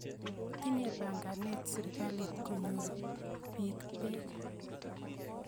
Tinye panganet sirikalit konyor piik peek